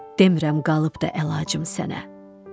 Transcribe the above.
Demirəm qalıbdır əlacım sənə.